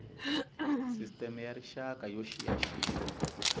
sisteme ya rixaka yo xiyaxiya